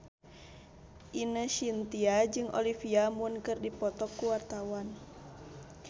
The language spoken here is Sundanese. Ine Shintya jeung Olivia Munn keur dipoto ku wartawan